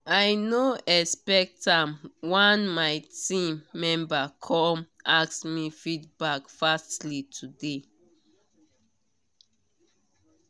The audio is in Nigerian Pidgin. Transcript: i no expect am one my team member come ask me feedback fastly today